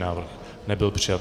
Návrh nebyl přijat.